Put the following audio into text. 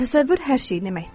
Təsəvvür hər şey deməkdir.